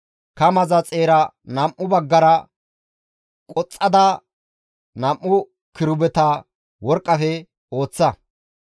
Kamaza xeera nam7u baggara qoxxada nam7u kirubeta worqqafe ooththa.